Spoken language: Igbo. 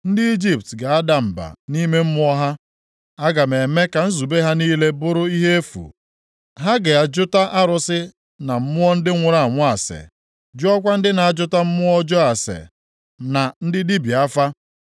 Ndị Ijipt ga-ada mba nʼime mmụọ ha, aga m eme ka nzube ha niile bụrụ ihe efu, ha ga-ajụta arụsị na mmụọ ndị nwụrụ anwụ ase, jụọkwa ndị na-ajụta mmụọ ọjọọ ase na ndị dibịa afa.